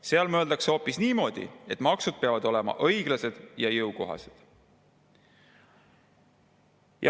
Seal mõeldakse hoopis niimoodi, et maksud peavad olema õiglased ja jõukohased.